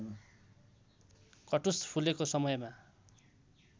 कटुस फुलेको समयमा